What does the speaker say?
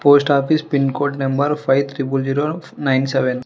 post office pin code number five triple zero nine seven --